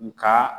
Nga